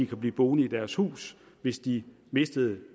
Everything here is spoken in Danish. kunne blive boende i deres hus hvis de mister